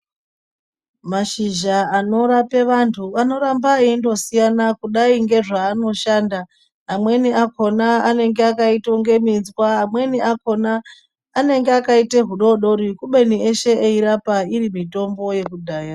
Mashizha anorape vantu anoramba eindosiyana kudai ngezvaanoshanda amweni akhona anenge akaitonge minzwa amweni akhona akaita hudodori kubeni eshe eindorapa iri mitombo yekudhaya.